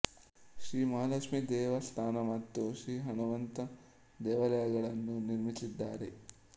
ಶ್ರೀ ಮಹಾಲಕ್ಷ್ಮಿ ದೇವಸ್ಥಾನ ಮತ್ತು ಶ್ರೀ ಹಣಮಂತ ದೇವಾಲಯಗಳನ್ನು ನಿರ್ಮಿಸಿದ್ದಾರೆ